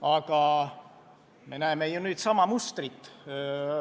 Paraku me näeme nüüd sama mustrit.